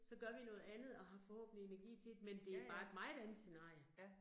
Så gør vi noget andet, og har forhåbentlig energi til det, men det jo bare et meget andet scenarie